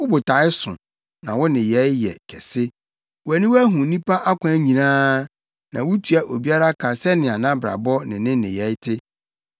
wo botae so, na wo nneyɛe yɛ kɛse. Wʼaniwa hu nnipa akwan nyinaa; na wutua obiara ka sɛnea nʼabrabɔ ne ne nneyɛe te.